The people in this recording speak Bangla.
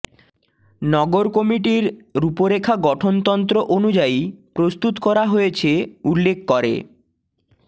নগর কমিটির রূপরেখা গঠনতন্ত্র অনুযায়ী প্রস্তুত করা হয়েছে উল্লেখ করে